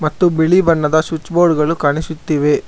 ಮತ್ತು ಬಿಳಿ ಬಣ್ಣದ ಸ್ವಿಚ್ ಬೋರ್ಡ್ ಗಳು ಕಾಣಿಸುತ್ತಿವೆ.